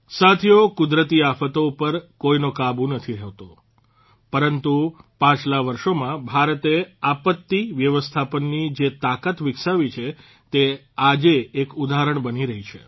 સાથીઓ કુદરતી આફતો ઉપર કોઇનો કાબૂ નથી હોતો પરંતુ પાછલા વર્ષોમાં ભારતે આપત્તિ વ્યવસ્થાપનની જે તાકાત વિકસાવી છે તે આજે એક ઉદાહરણ બની રહી છે